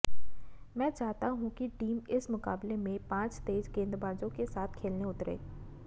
मैं चाहता हूं कि टीम इस मुकाबले में पांच तेज गेंदबाजों के साथ खेलने उतरे